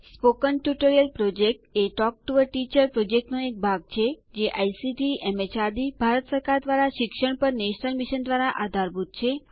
મૌખિક ટ્યુટોરિયલ યોજના એ ટોક ટૂ અ ટીચર યોજનાનો એક ભાગ છે જે આઇસીટી એમએચઆરડી ભારત સરકાર દ્વારા શિક્ષણ પર નેશનલ મિશન દ્વારા આધારભૂત છે